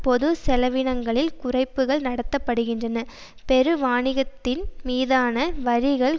பொதுச்செலவினங்களில் குறைப்புக்கள் நடத்த படுகின்றன பெருவாணிகத்தின் மீதான வரிகள்